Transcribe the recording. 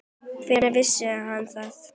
Hvenær vissi hann það?